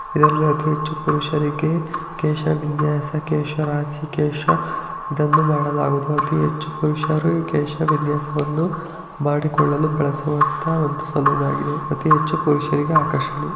ಇದರಲ್ಲಿ ಅತೀ ಹೆಚ್ಚು ಪುರಷರಿಗೆ ಕೇಶವಿನ್ಯಾಸ ಕೇಶರಾಸಿ ಕೇಶಾದಂದು ಮಾಡಲಾಗುವುದು. ಅತೀ ಹೆಚ್ಚು ಪುರುಷರು ಈ ಕೇಶವಿನ್ಯಾಸವನ್ನು ಮಾಡಿಕೊಳ್ಳಲು ಬಳಸುವಂತ ಒಂದು ಸಲೋನ್ ಆಗಿದೆ ಅತೀ ಹೆಚ್ಚು ಪುರಷರಿಗೆ ಆಕರ್ಷಣೀಯ --